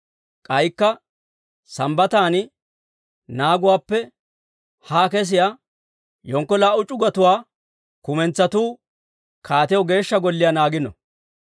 K'aykka Sambbatan naaguwaappe haa kesiyaa yenkko laa"u c'ugotuwaa kumentsatu kaatiyaw Geeshsha Golliyaa naagino.